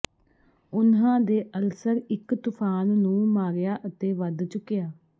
ਉਨ੍ਹਾਂ ਦੇ ਅਲਸਰ ਇੱਕ ਤੂਫਾਨ ਨੂੰ ਮਾਰਿਆ ਅਤੇ ਵੱਧ ਚੁਕਿਆ